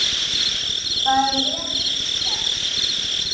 Það er vel þekkt.